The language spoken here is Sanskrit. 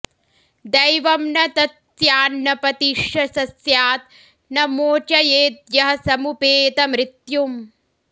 दैवं न तत्स्यान्न पतिश्च स स्यात् न मोचयेद्यः समुपेतमृत्युम्